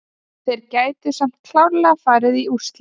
Þeir gætu samt klárlega farið í úrslit.